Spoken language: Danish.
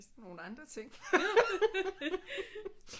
Nogle andre ting